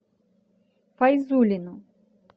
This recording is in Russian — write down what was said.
файзуллину